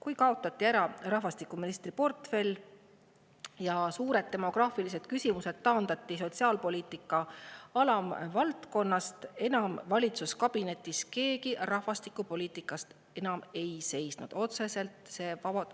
Sellest ajast, kui rahvastikuministri portfell ära kaotati ja suured demograafilised küsimused taandati sotsiaalpoliitika alamvaldkonnaks, pole valitsuskabinetis rahvastikupoliitika eest seisnud enam keegi.